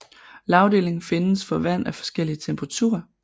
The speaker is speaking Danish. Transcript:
Lagdeling findes for vand af forskellig temperatur